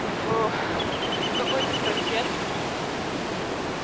в какой-то протест